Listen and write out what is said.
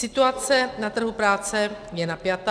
Situace na trhu práce je napjatá.